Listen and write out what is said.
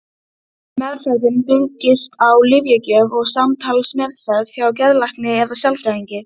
Meðferðin byggist á lyfjagjöf og samtalsmeðferð hjá geðlækni eða sálfræðingi.